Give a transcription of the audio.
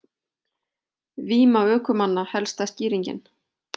Víma ökumanna helsta skýringin